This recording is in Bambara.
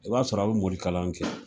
I b'a sɔrɔ a bi morikalan kɛ